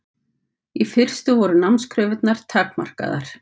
Í fyrstu voru námskröfurnar takmarkaðar.